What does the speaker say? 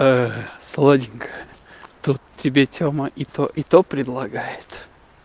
сладенькая тут тебе тема и то и то предлагает